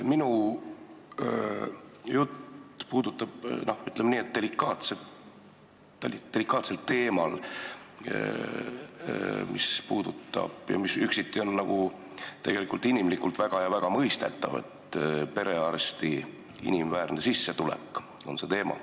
Minu jutt puudutab, ütleme, delikaatset teemat, mis on üksiti inimlikult väga mõistetavalt, see on perearsti inimväärne sissetulek.